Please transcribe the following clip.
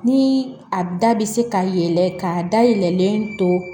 Ni a bɛ se ka yɛlɛ ka dayɛlɛlen to